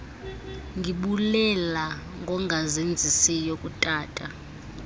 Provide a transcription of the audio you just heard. ndibulela ngongazenzisiyo kutata